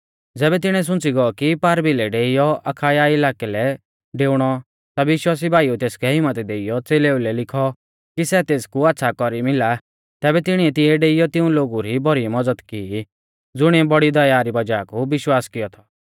ज़ेबी तिणीऐ सुंच़ी गौ कि पारभिलै डेइयौ अखाया इलाकै लै डेउणौ ता विश्वासी भाईउऐ तेसकै हिम्मत देइयौ च़ेलेऊ लै लिखौ कि सै तेसकु आच़्छ़ा कौरी मिला और तिणीऐ तिऐ डेइयौ तिऊं लोगु री भौरी मज़द की ज़ुणिऐ बौड़ी दया री वज़ाह कु विश्वास कियौ थौ